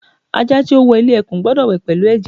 Aja ti o wọ ile ekun gbọdọ wẹ pẹlu ẹjẹ